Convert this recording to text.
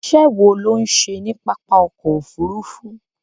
Iṣẹ́ wo ló ń ṣe ní pápá ọkọ̀ Òfurufú?